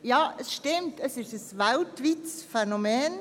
Ja, es stimmt, es ist ein weltweites Phänomen.